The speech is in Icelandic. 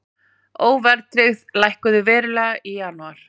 Óverðtryggð lækkuðu verulega í janúar